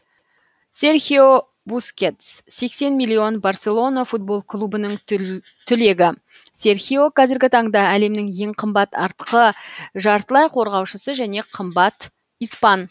серхио бускетс сексен миллион барселона футбол клубының түлегі серхио қазіргі таңда әлемнің ең қымбат артқы жартылай қорғаушысы және ең қымбат испан